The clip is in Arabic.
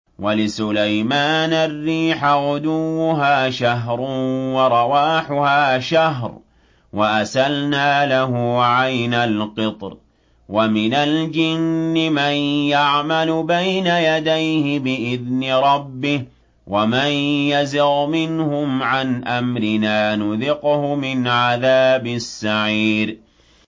وَلِسُلَيْمَانَ الرِّيحَ غُدُوُّهَا شَهْرٌ وَرَوَاحُهَا شَهْرٌ ۖ وَأَسَلْنَا لَهُ عَيْنَ الْقِطْرِ ۖ وَمِنَ الْجِنِّ مَن يَعْمَلُ بَيْنَ يَدَيْهِ بِإِذْنِ رَبِّهِ ۖ وَمَن يَزِغْ مِنْهُمْ عَنْ أَمْرِنَا نُذِقْهُ مِنْ عَذَابِ السَّعِيرِ